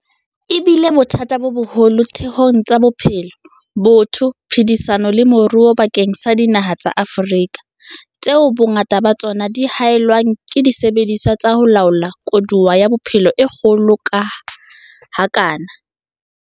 E bile bothata bo boholo ditheong tsa bophelo, botho, phedisano le moruo bakeng sa dinaha tsa Afrika, tseo bongata ba tsona di haellwang ke disebediswa tsa ho laola koduwa ya bophelo e kgolo ha kana.